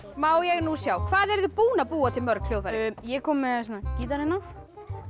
má ég nú sjá hvað eruð þið búin að búa til mörg hljóðfæri ég er kominn með gítar hérna